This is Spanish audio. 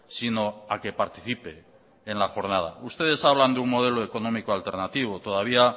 sino a que participe en la jornada ustedes hablan de un modelo económico alternativo todavía